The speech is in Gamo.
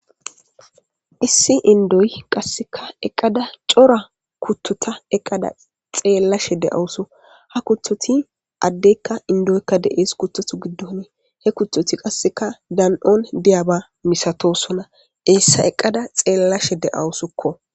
Issi indoyi qasseka eqada cora kuttota eqqada xeellashe de'awusu ha kuthoti addeykka indoykka de'ees kuttotu giddone he kutoti qasseka dan'oon diyaba misatosona eessa eqqada xeellashe de'awusukko